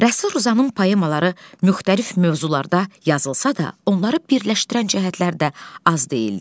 Rəsul Rzanın poemaları müxtəlif mövzularda yazılsa da, onları birləşdirən cəhətlər də az deyildi.